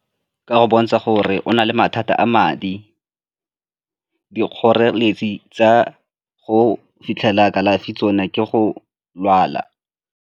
Ka go bontsha gore o na le mathata a madi, dikgoreletsi tsa go fitlhela kalafi tsone ke go lwala.